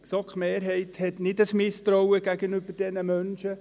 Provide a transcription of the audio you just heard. Die GSoK-Mehrheit hat kein Misstrauen diesen Menschen gegenüber.